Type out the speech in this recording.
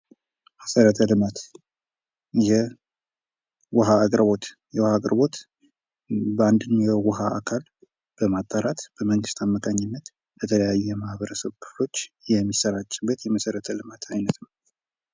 መሰረተ ልማት የውሃ አቅርቦት አንድን ውሃ አካል በማጠራት በመንግስት አማካኝነት ለተለያዩ የማህበረሰብ ክፍሎች የሚሠራጭ የመሠረተ ልማት አይነት ነው።